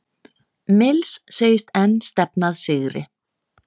Mills segist enn stefna að sigri